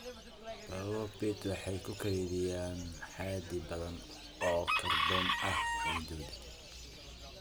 Bogagga peat waxay ku kaydiyaan xaddi badan oo kaarboon ah ciiddooda.